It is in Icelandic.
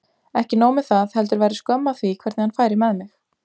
Ekki nóg með það, heldur væri skömm að því hvernig hann færi með mig.